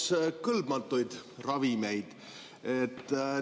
Küsiks kõlbmatute ravimite kohta.